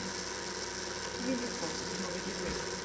минифорс новые герои